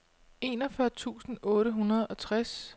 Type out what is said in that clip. enogfyrre tusind otte hundrede og tres